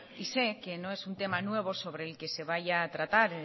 y sé que no es un tema nuevo sobre el que se vaya a tratar